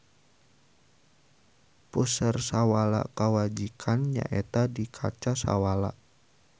Puseur sawala kawijakan nyaeta di kaca Sawala.